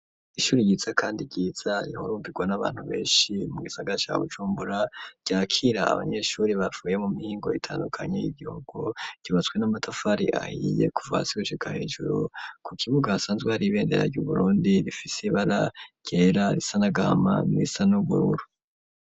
Ishuri ryiza kandi ryiza rihurumbirwa n'abantu beshi mu gisagara ca Bujumbura ryakira abanyeshuri bavuye mu mihingo itandukanye y'igihugu cubatswe n'amatafari ahiye kuva hasi gushika hejuru ku kibuga hasanzwe hari ibendera ryu Burundi rifise ibara ryera risa n'agama n'irisa n'ubururu.